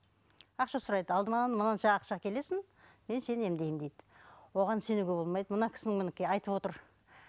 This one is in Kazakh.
ақша сұрайды алдымен мынанша ақша әкелесің мен сені емдеймін дейді оған сенуге болмайды мына кісінің мінекей айтып отыр